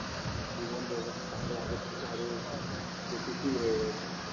জীবন ব্যবস্থা আরও আগে থেকে আরও বেশি গতিশীল হয়ে গেছে